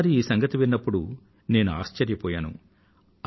మొదటి సారి ఈ సంగతి విన్నప్పుడు నేను ఆశ్చర్యపోయాను